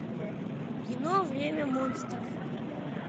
кино время монстров